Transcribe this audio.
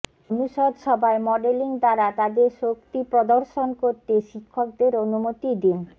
অনুষদ সভায় মডেলিং দ্বারা তাদের শক্তি প্রদর্শন করতে শিক্ষকদের অনুমতি দিন